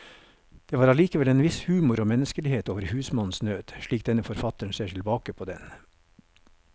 Det var allikevel en viss humor og menneskelighet over husmannens nød, slik denne forfatteren ser tilbake på den.